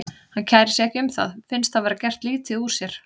Hann kærir sig ekki um það, finnst þá vera gert lítið úr sér.